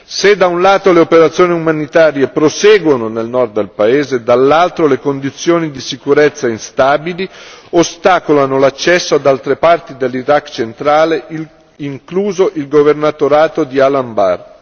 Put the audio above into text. Se da un lato le operazioni umanitarie proseguono nel Nord del paese, dall'altro le condizioni di sicurezza instabili ostacolano l'accesso ad altre parti dell'Iraq centrale, incluso il governatorato di Al Anbar.